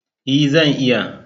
E, zan iya.